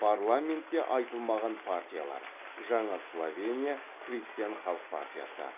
парламентте айтылмаған партиялар жаңа словения христиан халық партиясы